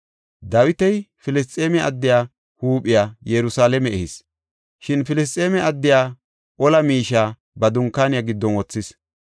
Dawiti Filisxeeme addiya huuphiya Yerusalaame ehis; shin Filisxeeme addiya ola miishiya ba dunkaaniya giddon wothis.